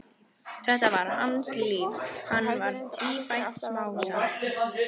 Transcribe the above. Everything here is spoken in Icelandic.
Þetta var hans líf, hann var tvífætt smásaga.